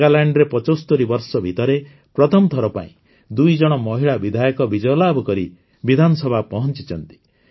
ନାଗାଲାଣ୍ଡରେ ୭୫ ବର୍ଷ ଭିତରେ ପ୍ରଥମଥର ପାଇଁ ଦୁଇଜଣ ମହିଳା ବିଧାୟକ ବିଜୟଲାଭ କରି ବିଧାନସଭା ପହଂଚିଛନ୍ତି